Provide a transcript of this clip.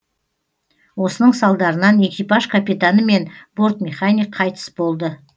осының салдарынан экипаж капитаны мен бортмеханик қайтыс болды